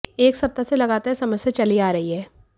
एक सप्ताह से लगातार यह समस्या चली अा रही है